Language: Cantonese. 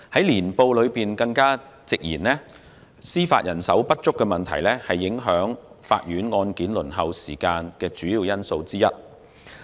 《年報》更直言，司法人手不足問題是影響法院案件輪候時間的主要因素之一。